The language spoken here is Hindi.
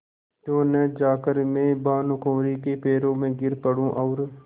क्यों न जाकर मैं भानुकुँवरि के पैरों पर गिर पड़ूँ और